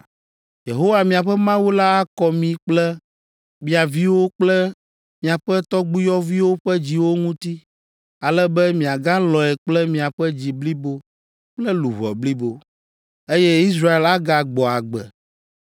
Yehowa, miaƒe Mawu la akɔ mi kple mia viwo kple miaƒe tɔgbuiyɔviwo ƒe dziwo ŋuti, ale be miagalɔ̃e kple miaƒe dzi blibo kple luʋɔ blibo, eye Israel agagbɔ agbe.